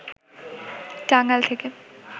টাঙ্গাইল থেকে